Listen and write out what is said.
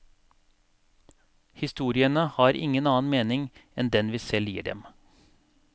Historiene har ikke noen annen mening enn den vi selv gir dem.